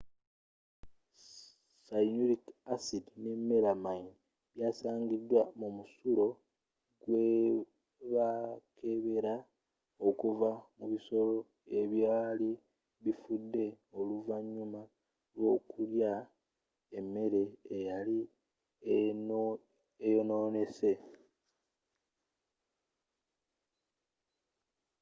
cyanuric asidi ne melamine byasangibwa mu musulo gwebakebela okuva mu bisolo ebyali bifudde oluvanyuma lw'okulya emmeere eyali eyononese